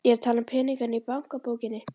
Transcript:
Ég er að tala um peningana í bankabókinni.